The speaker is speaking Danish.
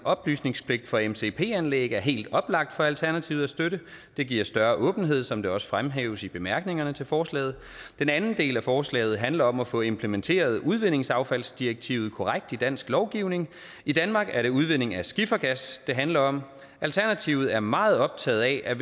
oplysningspligt for mcp anlæg er helt oplagt for alternativet at støtte det giver større åbenhed som det også fremhæves i bemærkningerne til forslaget den anden del af forslaget handler om at få implementeret udvindingsaffaldsdirektivet korrekt i dansk lovgivning i danmark er det udvinding af skifergas det handler om alternativet er meget optaget af